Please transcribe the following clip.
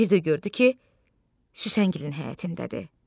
Bir də gördü ki, Süsenqilin həyətindədir.